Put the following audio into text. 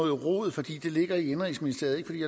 rod fordi det ligger i indenrigsministeriet